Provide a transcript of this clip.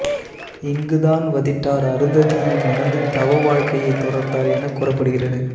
இங்குதான் வதிட்டர் அருந்ததியை மணந்து தவவாழ்க்கையை தொடர்ந்தார் என கூறப்படுகிறது